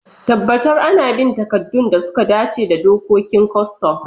Tabbatar ana bin takaddun da suka dace da dokokin kwastam.